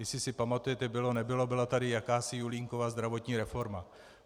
Jestli si pamatujete, bylo nebylo, byla tady jakási Julínkova zdravotní reforma.